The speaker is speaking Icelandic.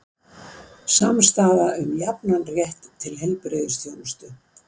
Samstaða um jafnan rétt til heilbrigðisþjónustu